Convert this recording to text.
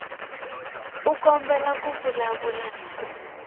u kombela ku vulavula na